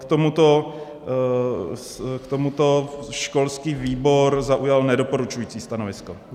K tomuto školský výbor zaujal nedoporučující stanovisko.